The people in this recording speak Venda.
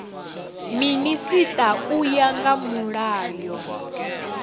minisita u ya nga mulayo